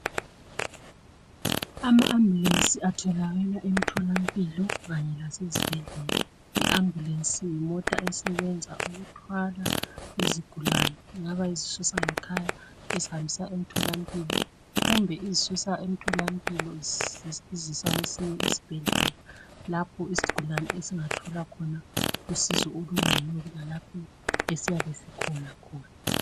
Ama ambulance atholakala emtholampilo Kanye lasezibhedlela. I ambulance yimota esebenza ukuthwala izigulane Ingaba izisusa ngekhaya izihambisa emtholampilo kumbe izisusa emtholampilo izihambisa kwesinye isibhedlela lapho isigulane esingathola khona usizo olugcono kulalapho esiyabe sikhona khona.